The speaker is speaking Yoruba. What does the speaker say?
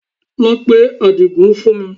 Lọ pe Àdìgún fún mi